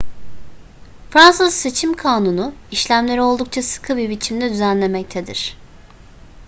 fransız seçim kanunu işlemleri oldukça sıkı bir biçimde düzenlemektedir